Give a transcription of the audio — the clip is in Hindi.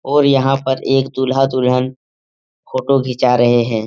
और यहां पर एक दूल्हा-दुल्हन फोटो घिचा रहे हैं।